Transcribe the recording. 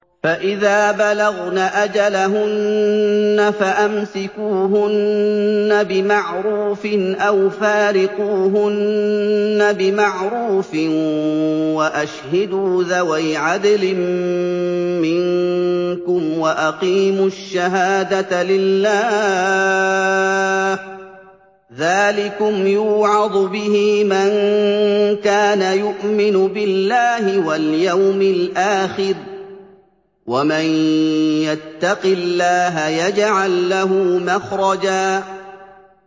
فَإِذَا بَلَغْنَ أَجَلَهُنَّ فَأَمْسِكُوهُنَّ بِمَعْرُوفٍ أَوْ فَارِقُوهُنَّ بِمَعْرُوفٍ وَأَشْهِدُوا ذَوَيْ عَدْلٍ مِّنكُمْ وَأَقِيمُوا الشَّهَادَةَ لِلَّهِ ۚ ذَٰلِكُمْ يُوعَظُ بِهِ مَن كَانَ يُؤْمِنُ بِاللَّهِ وَالْيَوْمِ الْآخِرِ ۚ وَمَن يَتَّقِ اللَّهَ يَجْعَل لَّهُ مَخْرَجًا